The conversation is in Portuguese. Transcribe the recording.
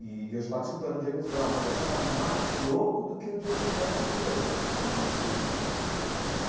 E e eu já estava escutando o James Brown, mas eu achava mais louco do que o James Brown ainda, essa esse tipo de música do Jimi Hendrix.